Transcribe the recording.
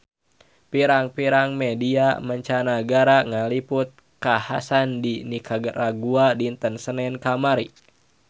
Pirang-pirang media mancanagara ngaliput kakhasan di Nikaragua dinten Senen kamari